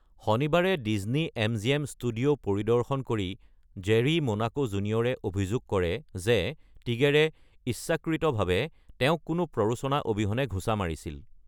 শনিবাৰে Disney MGM studio পৰিদৰ্শন কৰি জেৰী মোনাকো জুনিয়ৰে অভিযোগ কৰে যে টিগেৰে ইচ্ছাকৃতভাৱে তেওঁক কোনো প্ৰৰোচনা অবিহনে ঘুচা মাৰিছিল।